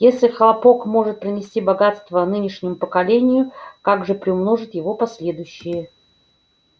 если хлопок может принести богатство нынешнему поколению как же приумножат его последующие